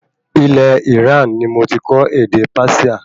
Ilẹ̀ Iran ní mo tí kọ́ ède Persia